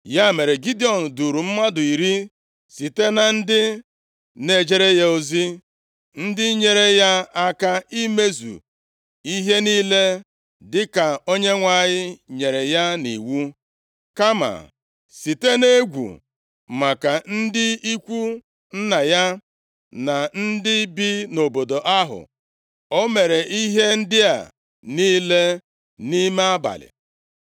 Ya mere, Gidiọn duuru mmadụ iri site na ndị na-ejere ya ozi, ndị nyeere ya aka imezu ihe niile dịka Onyenwe anyị nyere ya nʼiwu. Kama, site nʼegwu maka ndị ikwu nna ya, na ndị bi nʼobodo ahụ, o mere ihe ndị a niile nʼime abalị.